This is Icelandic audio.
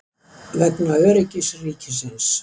Vegna öryggis ríkisins.